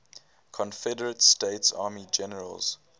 confederate states army generals